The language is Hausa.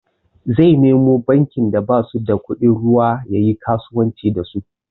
Zai nemo bankin da basu da kudin ruwa yayi kasuwanci da su.